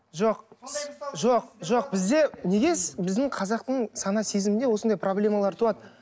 жоқ жоқ жоқ бізде неге біздің қазақтың сана сезімінде осындай проблемалар туады